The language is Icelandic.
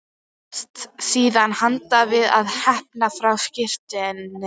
Hefst síðan handa við að hneppa frá skyrtunni.